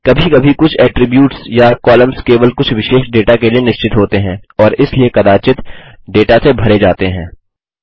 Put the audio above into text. कभी कभी कुछ एट्रिब्यूट्स या कॉलम्स केवल कुछ विशेष डेटा के लिए निश्चित होते हैं और इसलिए कदाचित डेटा से भरे जाते हैं